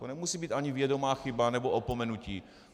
To nemusí být ani vědomá chyba nebo opomenutí.